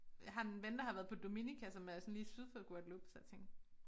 Jeg har en ven der har været på Dominica som er sådan lige syd for Guadeloupe så jeg tænkte